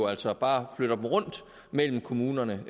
altså bare flytter dem rundt mellem kommunerne